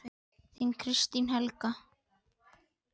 Þín, Kristín Helga.